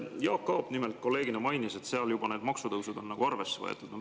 Kolleeg Jaak Aab mainis, et seal on need maksutõusud juba arvesse võetud.